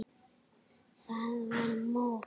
Það var mús!